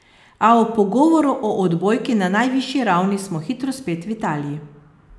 A ob pogovoru o odbojki na najvišji ravni smo hitro spet v Italiji.